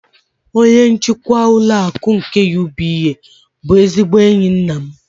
Onye njikwa ụlọ akụ nke UBA bụ ezigbo enyi nna m.